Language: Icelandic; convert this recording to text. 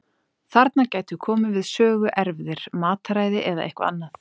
Þarna gætu komið við sögu erfðir, mataræði eða eitthvað annað.